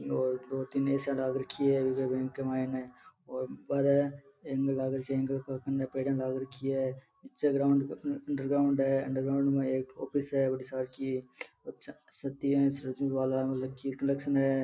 और दो तीन ए_सी लाग रखी है बैंक के मायने और बाहर एंगल लगा रखे है एंगल कन पेडिया लाग रखी है नीचे अंडरग्राउंड है अंडरग्राउंड में ऑफिस है बड़ी सारकी --